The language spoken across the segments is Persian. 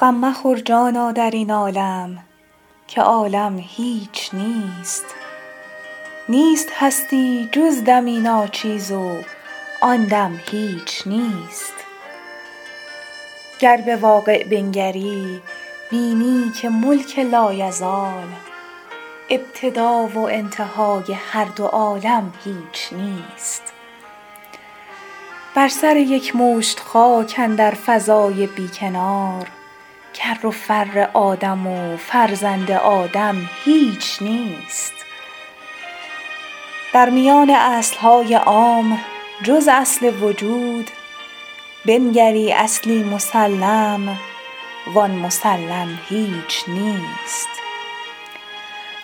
غم مخور جانا در این عالم که عالم هیچ نیست نیست هستی جز دمی ناچیز و آن دم هیچ نیست گر به واقع بنگری بینی که ملک لایزال ابتدا و انتهای هر دو عالم هیچ نیست بر سر یک مشت خاک اندر فضای بی کنار کر و فر آدم و فرزند آدم هیچ نیست در میان اصل های عام جز اصل وجود بنگری اصلی مسلم و آن مسلم هیچ نیست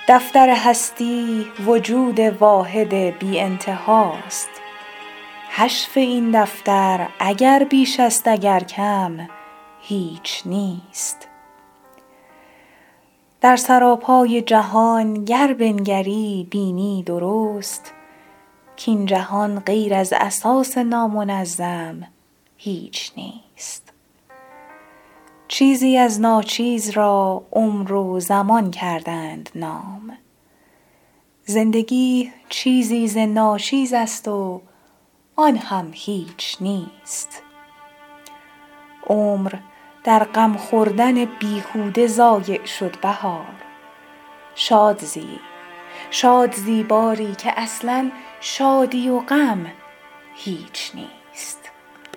دفتر هستی وجود واحد بی انتها است حشو این دفتر اگر بیش است اگر کم هیچ نیست در سراپای جهان گر بنگری بینی درست کاین جهان غیر از اساس نامنظم هیچ نیست چیزی از ناچیز را عمر و زمان کردند نام زندگی چیزی ز ناچیز است و آن هم هیچ نیست عمر در غم خوردن بیهوده ضایع شد بهار شاد زی باری که اصلا شادی و غم هیچ نیست